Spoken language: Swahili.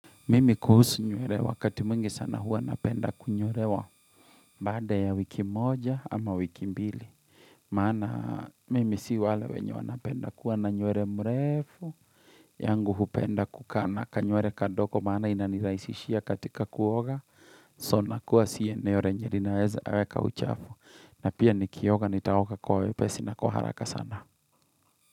Mimi kuhusu nyurewa wakati mwingi sana hua napenda kunyurewa bada ya wiki moja ama wiki mbili. Maana mimi si wale wenye wanapenda kuwa na nywere mrefu. Yangu hupenda kukaa na kanywre kadogo. Maana inanirahisishia katika kuoga. So nakua siye eneo re njerinaweza kuweka uchafu. Na pia nikioga, nitaoga kwa wepesi, na kwa haraka sana.